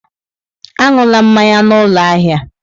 Aṅụla mmanya n'ụlọ ahịa!